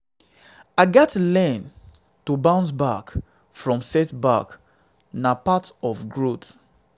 i gats learn to bounce back from setbacks; na part of growth.